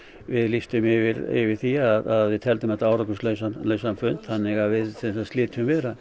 við lýstum yfir yfir því að við teldum þetta árangurslausan fund þannig við slitum viðræðum